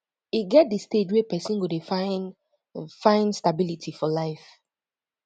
e get di stage wey person go dey find find stability for life